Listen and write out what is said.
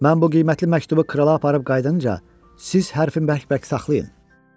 "Mən bu qiymətli məktubu krala aparıb qayıdınca, siz hərfi bərk-bərk saxlayın."